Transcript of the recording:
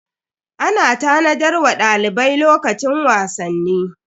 Ana tanadar wa dalibai lokacin wasanni.